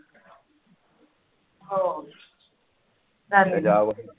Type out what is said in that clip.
हो